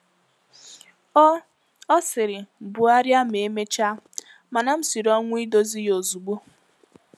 Ọ Ọ sịrị, “Bugharịa ma emechaa,” mana m siri ọnwụ idozi ya ozugbo.